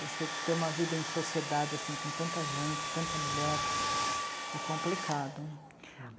Você ter uma vida em sociedade, assim, com tanta gente, tanta mulher, é complicado.